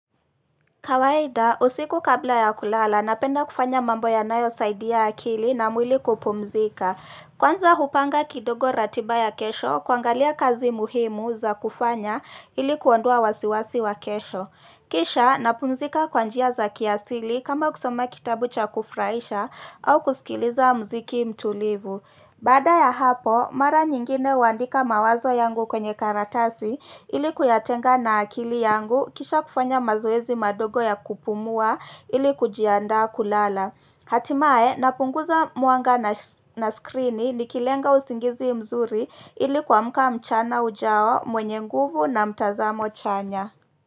Kawaida, usiku kabla ya kulala, napenda kufanya mambo yanayosaidia akili na mwili kupumzika. Kwanza hupanga kidogo ratiba ya kesho, kuangalia kazi muhimu za kufanya ili kuondoa wasiwasi wa kesho. Kisha, napumzika kwa njia za kiasili kama kusoma kitabu cha kufurahisha au kusikiliza muziki mtulivu. Baada ya hapo, mara nyingine huandika mawazo yangu kwenye karatasi ili kuyatenga na akili yangu kisha kufanya mazoezi madogo ya kupumua ili kujiandaa kulala. Hatimaye napunguza mwanga na skrini nikilenga usingizi mzuri ili kuamka mchana ujao mwenye nguvu na mtazamo chanya.